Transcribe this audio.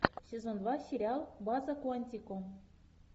сезон два сериал база куантико